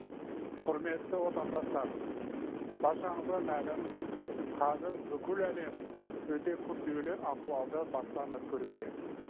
құрметті отандастар баршаңызға мәлім қазір бүкіл әлем өте күрделі ахуалды бастан өткеруде